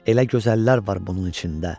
Elə gözəllər var bunun içində.